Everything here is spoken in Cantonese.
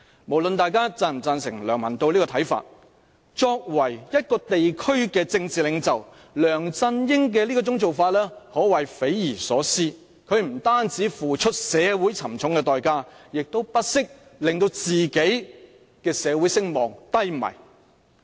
無論大家是否贊成上述梁文道的看法，梁振英作為一個地區的政治領袖，其所作所為可謂匪夷所思，他不單要社會付出沉重的代價，亦不惜令到自己的社會聲望低迷。